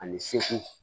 Ani segu